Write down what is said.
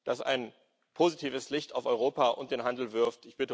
das ein positives Licht auf Europa und den Handel wirft.